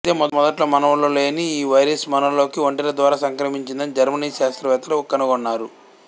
అయితే మొదట్లో మనవులలో లేని ఈ వైరస్ మనలోకి ఒంటెల ద్వారా సంక్రమించిందని జర్మనీ శాస్త్రవేత్తలు కనుగొన్నారు